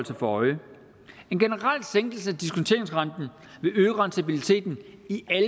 sig for øje en generel sænkelse af diskonteringsrenten vil øge rentabiliteten